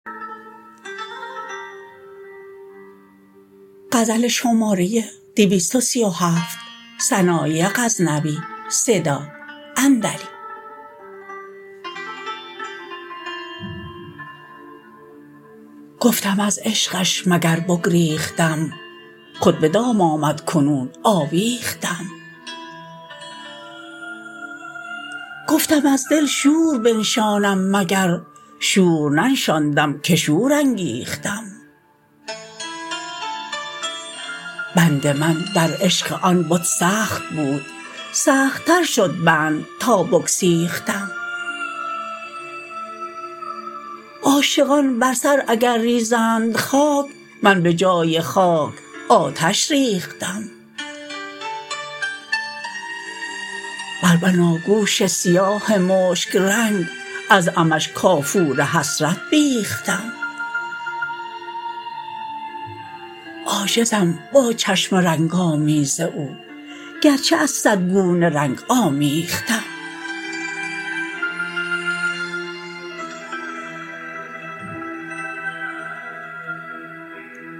گفتم از عشقش مگر بگریختم خود به دام آمد کنون آویختم گفتم از دل شور بنشانم مگر شور ننشاندم که شور انگیختم بند من در عشق آن بت سخت بود سخت تر شد بند تا بگسیختم عاشقان بر سر اگر ریزند خاک من به جای خاک آتش ریختم بر بناگوش سیاه مشک رنگ از عمش کافور حسرت بیختم عاجزم با چشم رنگ آمیز او گرچه از صد گونه رنگ آمیختم